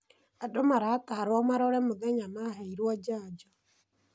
Andũ maratarwo marore mũthenya maheirwo janjo.